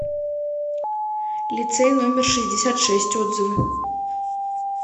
лицей номер шестьдесят шесть отзывы